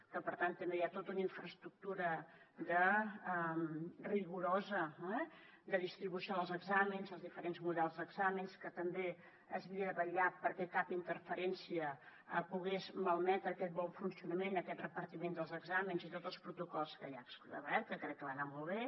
que per tant també hi ha tota una infraestructura rigorosa de distribució dels exàmens els diferents models d’exàmens que també s’havia de vetllar perquè cap interferència pogués malmetre aquest bon funcionament aquest repartiment dels exàmens i tots els protocols que hi ha establerts que crec que va anar molt bé